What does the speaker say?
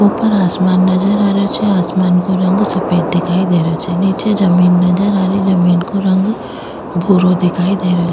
ऊपर आसमान नजर आ रहे छे आसमान को रंग सफ़ेद दिखाई दे रेहो छे निचे जमीं नजर आ रही जमीं को रंग भूरो दिखाई दे रेहो।